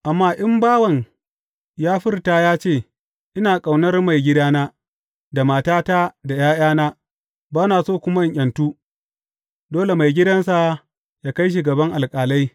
Amma in bawan ya furta ya ce, Ina ƙaunar maigidana, da matata, da ’ya’yana, ba na so kuma in ’yantu,’ dole maigidansa yă kai shi gaban alƙalai.